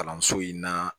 Kalanso in na